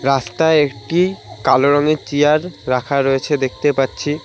রাস্তায় একটি কালো রঙের চেয়ার রাখা রয়েছে দেখতে পাচ্ছি।